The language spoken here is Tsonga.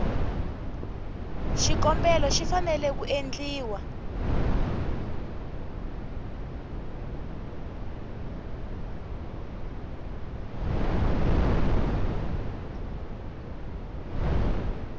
xikombelo xi fanele ku endliwa